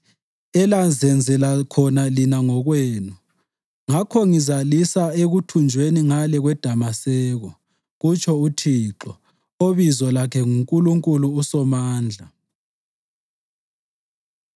Ngakho ngizalisa ekuthunjweni ngale kweDamaseko,” kutsho uThixo obizo lakhe nguNkulunkulu uSomandla.